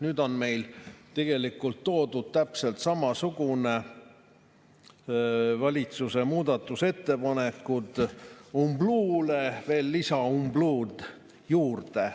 Nüüd on tegelikult toodud täpselt samasugused lisaumbluud, valitsuse muudatusettepanekud umbluule juurde.